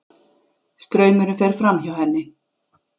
Straumurinn fer fram- hjá henni.